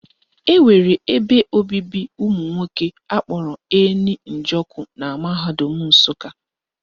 Enwere ebe obibi ụmụnwoke akpọrọ Eni Njoku na mahadum Nsụka